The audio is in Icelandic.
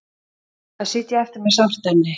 Að sitja eftir með sárt enni